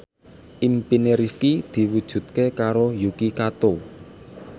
impine Rifqi diwujudke karo Yuki Kato